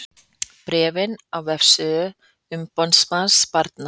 Bréfið á vefsíðu umboðsmanns barna